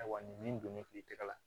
Ayiwa nin min don ne fere tɛgɛ la